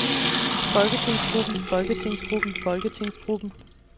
folketingsgruppen folketingsgruppen folketingsgruppen